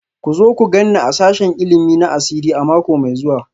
Ku zo ku gan ni a sashen ilimi na asiri a mako mai zuwa